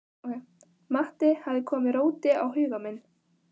Matti hafði komið róti á huga minn.